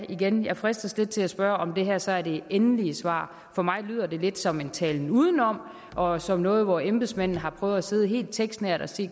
igen jeg fristes lidt til at spørge om det her så er det endelige svar for mig lyder det lidt som en talen udenom og som noget hvor embedsmændene har prøvet at sidde helt tekstnært og se